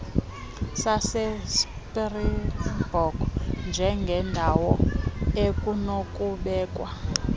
sasespringbok njengendawo ekunokubekwa